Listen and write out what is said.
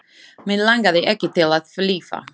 Mig langaði ekki til að lifa.